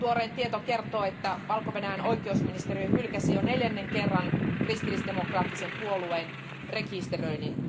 Tuorein tieto kertoo, että Valko Venäjän oikeusministeriö hylkäsi jo neljännen kerran kristillisdemokraattisen puolueen rekisteröinnin.